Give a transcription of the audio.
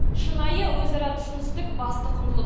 шынайы өзара түсіністік басты құндылық